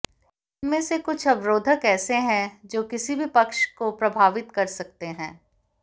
इनमें से कुछ अवरोधक ऐसे हैं जो किसी भी पक्ष को प्रभावित कर सकते हैं